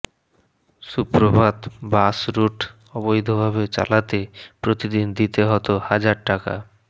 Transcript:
সুপ্রভাত bus route অবৈধভাবে চালাতে প্রতিদিন দিতে হতো হাজার টাকা